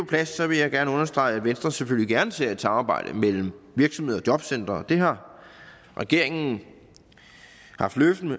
plads vil jeg gerne understrege at venstre selvfølgelig gerne ser et samarbejde mellem virksomheder og jobcentre det har regeringen